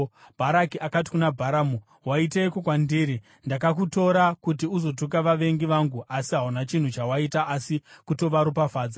Bharaki akati kuna Bharamu, “Waiteiko kwandiri? Ndakakutora kuti uzotuka vavengi vangu, asi hauna chinhu chawaita asi kutovaropafadza!”